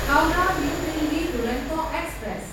Howrah New Delhi Duronto express